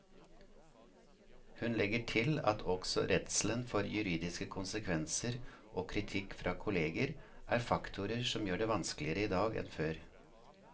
Hun legger til at også redselen for juridiske konsekvenser og kritikk fra kolleger er faktorer som gjør det vanskeligere i dag enn før.